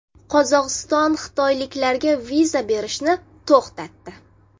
Qozog‘iston xitoyliklarga viza berishni to‘xtatdi.